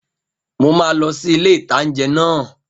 Mo máa lọ sí ilé-ìtánjẹ náà